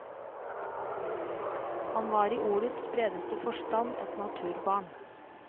Han var i ordets bredeste forstand et naturbarn.